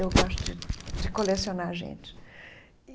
Eu gosto de de colecionar gente e.